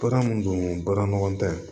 Baara mun don baara ɲɔgɔn tɛ